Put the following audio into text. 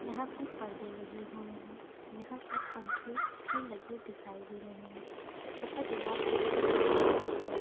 यहाँ पर पर्दे लगे हुए हैं यहाँ पर पंखे भी लगे हुए दिखाई दे रहै हैं तथा दीवार पे छोटे-छोटे पोस्टर --